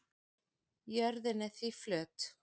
jörðin er því flöt